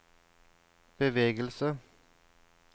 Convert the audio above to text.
bevegelse